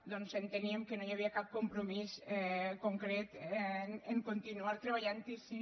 doncs enteníem que no hi havia cap compromís concret a continuar treballant hi si